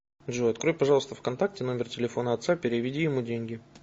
джой открой пожалуйста в контакте номер телефона отца переведи ему деньги